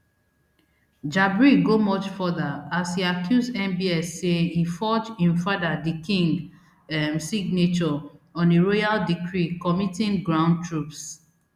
jabri go much further as e accuse mbs say e forge im father di king um signature on a royal decree committing ground troops